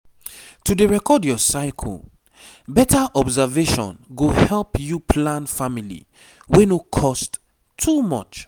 to dey record your cyle better observation go help you plan family wey no cost too much